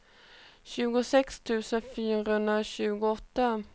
tjugosex tusen fyrahundratjugoåtta